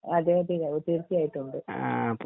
അതെ അതെ തീർച്ചയായിട്ടും ഉണ്ട്